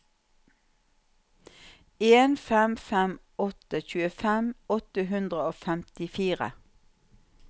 en fem fem åtte tjuefem åtte hundre og femtifire